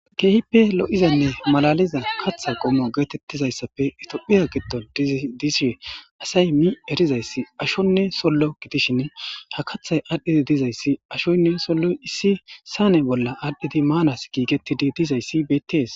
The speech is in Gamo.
keehippe lo7izanne malaliza katha qommo geetettizayssafe itophiya giddon disishe asay mi erizayssi ashonne sollo gidishin ha kathay aadhdhidi dizayssi ashoynne solloy issi saane bolla aadhdhidi maanas giigettidi dizayssi bettees